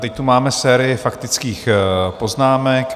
Teď tu máme sérii faktických poznámek.